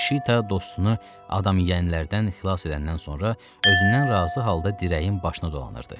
Şita dostunu adam yeyənlərdən xilas edəndən sonra özündən razı halda dirəyin başını dolanırdı.